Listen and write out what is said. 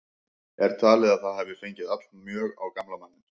Er talið að það hafi fengið allmjög á gamla manninn.